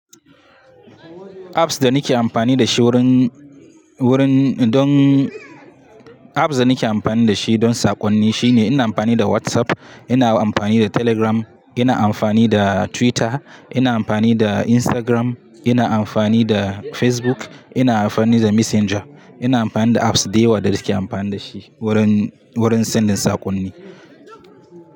Apps da nake amfani da shi wurin, wurin don, apps da nake amfani da shi don saƙonni shine ina amfani da WhatsApp, ina amfani da Telegram, ina amfani da Twitter, ina amfani da Instagram, ina amfani da Facebook, ina amfani da Messenger. Ina amfani da apps da yawa da nake amfani da shi wurin, wurin sanya saƙonni.